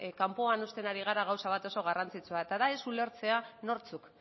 kanpoan uzten ari gara gauza bat oso garrantzitsua eta da ez ulertzea nortzuk